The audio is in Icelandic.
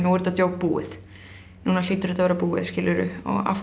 er þetta djók búið núna hlýtur þetta að vera búið afhverju